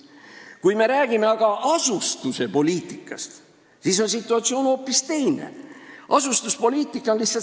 Kui me aga räägime asustuspoliitikast, siis on situatsioon hoopis teine.